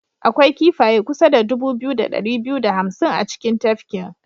Akwai kifaye kusa da dubu biyu da dari biyu da hamsin a cikin tafkin.